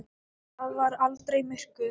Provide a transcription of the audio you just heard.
Það var aldrei myrkur.